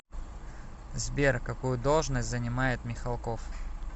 сбер какую должность занимает михалков